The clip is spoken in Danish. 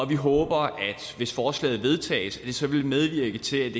vi håber hvis forslaget vedtages at det så vil medvirke til